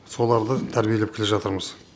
соларды тәрбиелеп келе жатырмыз